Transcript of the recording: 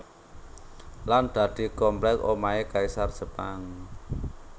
Lan dadi komplek omahe kaisar Jepang